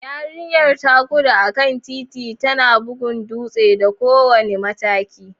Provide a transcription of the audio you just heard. Yarinyar ta gudu a kan titi, tana bugun dutse da kowane mataki.